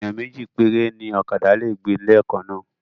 Ènìyàn méjì péré ni ókàdá lè gbé leè kan náà